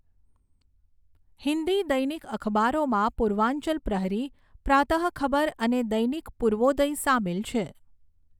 હિન્દી દૈનિક અખબારોમાં પૂર્વાંચલ પ્રહરી, પ્રાતઃ ખબર અને દૈનિક પૂર્વોદય સામેલ છે.